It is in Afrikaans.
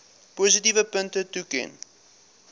positiewe punte toeken